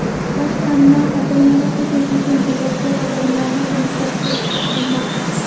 Boshqarma xodimlari hujum uchun javobgar odamlarni aniqlashtirishga urinmoqda.